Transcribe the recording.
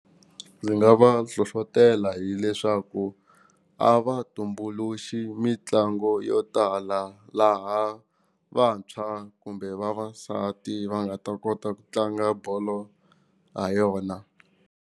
Ndzi nga va hlohlotela hileswaku a va tumbuluxi mitlango yo tala laha vantshwa kumbe vavasati va nga ta kota ku tlanga bolo ha yona.